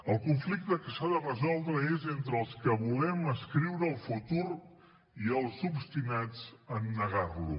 el conflicte que s’ha de resoldre és entre els que volem escriure el futur i els obstinats a negar lo